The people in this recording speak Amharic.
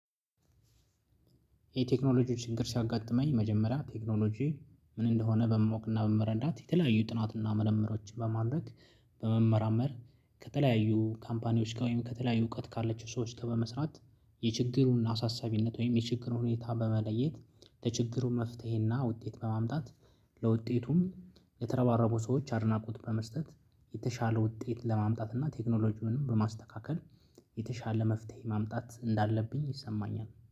የቴክኖሎጂ ችግር ሲያጋጠመኝ መጀመሪያ ቴክኖሎጂ ምን እንደሆነ በማወቅ እና በመረዳት የተለያዩ ጥናት እና መርምሮችን በማድረግ በመመራመር ከተለያዩ ካምፓኒዎች ጋር ወይም ከተለያዩ እውቀት ካለችው ሰዎች ጋር በመስራት የችግሩን አሳሳቢነት ወይም የችግሩን ሁኔታ በመለየት ለችግሩ መፍትሄ እና ውጤት በማምጣት ለውጤቱም የተረባረቡ ሰዎች አድናቆት በመስጠት የተሻለ ውጤት ለማምጣት እና ቴክኖሎጂውንም በማስተካከል የተሻለ መፍትሄ ማምጣት እንዳለብኝ ይሰማኛል